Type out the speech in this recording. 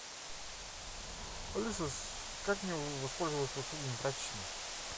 алиса как мне воспользоваться услугами прачечной